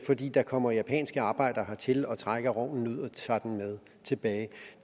fordi der kommer japanske arbejdere hertil og trækker rognen ud og tager den med tilbage